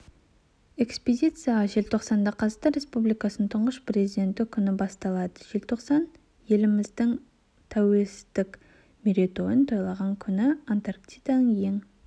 экспедиция желтоқсанда қазақстан республикасының тұңғыш президенті күні басталады желтоқсан еліміздің тәуелсіздік мерейтойын тойлаған күні антарктиданың ең